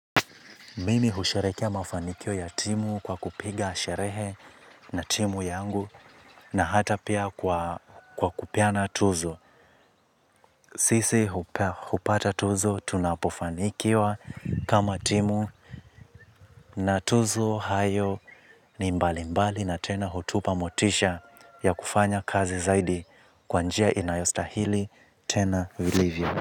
Mimi husherehekea mafanikio ya timu kwa kupiga sherehe na timu yangu na hata pia kwa kupeana tuzo. Sisi hupata tuzo tunapofanikiwa kama timu na tuzo hayo ni mbalimbali na tena hutupa motisha ya kufanya kazi zaidi kwa njia inayostahili tena vilivyo.